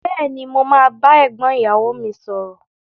Béèni, mo ma ba égbón ìyàwo mi sòrò